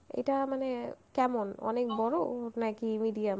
এটা মানে কেমন, অনেক বড় নাকি medium?